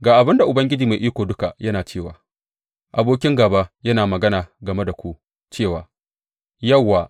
Ga abin da Ubangiji Mai Iko Duka yana cewa abokin gāba yana magana game da ku cewa, Yauwa!